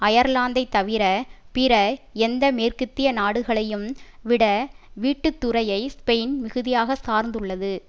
அயர்லாந்தை தவிர பிற எந்த மேற்கத்திய நாடுகளையும் விட வீட்டுத்துறையை ஸ்பெயின் மிகுதியாக சார்ந்துள்ளது